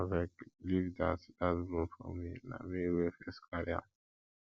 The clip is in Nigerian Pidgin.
abeg leave dat dat broom for me na me wey first carry am